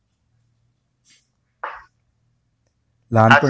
लहानपणी